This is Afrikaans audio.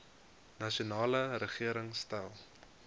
nasionale regering stel